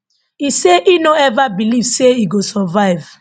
e say e no ever believe say e go survive